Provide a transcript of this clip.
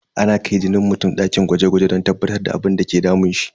Ana kai jinin mutum dakin gwaje gwaje don tabbatar da abinda ke damun shi.